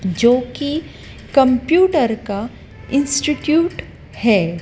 जो कि कंप्यूटर का इंस्टिट्यूट है।